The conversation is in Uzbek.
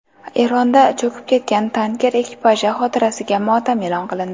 Eronda cho‘kib ketgan tanker ekipaji xotirasiga motam e’lon qilindi.